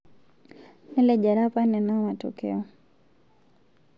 Nelejare apa nena matokeo